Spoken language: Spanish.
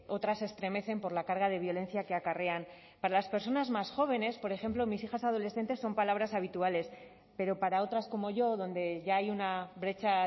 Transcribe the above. otras extremecen por la carga de violencia que acarrean para las personas más jóvenes por ejemplo mis hijas adolescentes son palabras habituales pero para otras como yo donde ya hay una brecha